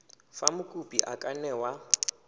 fa mokopi a ka newa